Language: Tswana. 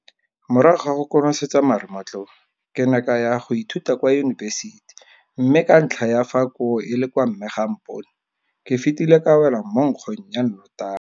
Morago ga go konosetsa marematlou, ke ne ka ya go ithuta kwa yunibesiti mme ka ntlha ya fa koo e le kwa mme ga a mpone, ke fetile ka wela mo nkgong ya notagi.